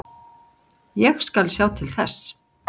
Ég skal sjá til þess.